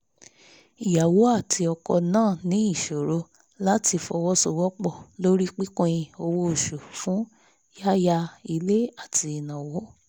ìyàwó àti ọkọ náà ní ìṣòro láti fọwọ́sowọ́pọ̀ lórí pípin owó oṣù fún yáya ilé àti ìnáwó